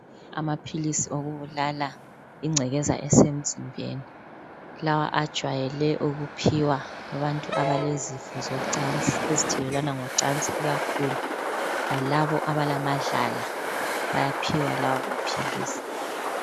Amaphilisi okubulala ingcekeza esemzimbeni lawa ajwayele ukuphiwa abantu abalezifo zocansi, ezithelelwana ngocansi ikakhulu lalabo abalamadlala bayaphiwa lawo maphilisi.